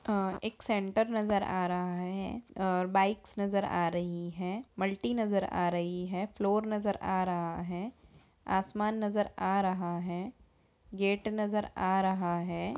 आ एक सेंटर नजर आ रहा है और बाइक्स नजर आ रही है मल्टी नजर आ रही है फ्लोर नजर आ रहा है आसमान नजर आ रहा है। गेट नज़र आ रहा है।